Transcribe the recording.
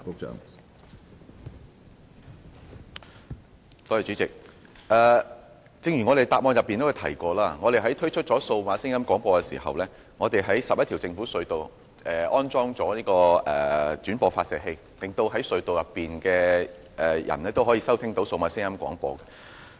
主席，正如主體答覆中提及，當局在推出數碼廣播後，在11條政府隧道安裝了轉播發射器，令隧道內的人士都可以收聽到數碼廣播。